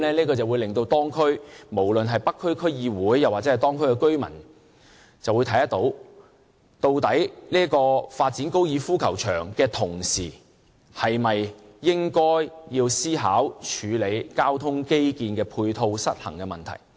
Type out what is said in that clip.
這樣會令無論是北區區議會或當區居民看到，究竟發展高爾夫球場的同時，是否應該要思考處理交通基建的配套失衡問題。